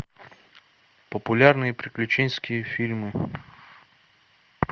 популярные приключенческие фильмы